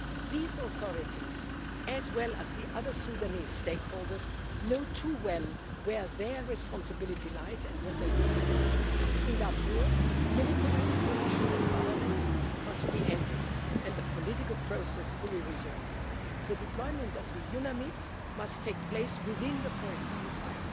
These authorities, as well as the other Sudanese stakeholders, know only too well where their responsibilities lie and what they need to deliver. In Darfur, military operations and violence must be ended and the political process fully resumed. The deployment of the UNAMID must take place within the foreseen